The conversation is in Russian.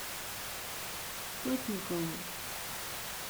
сотникову